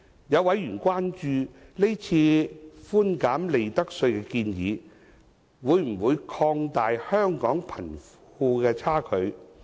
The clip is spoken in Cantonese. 有委員關注，是次寬減利得稅的建議，會否擴大香港的貧富差距。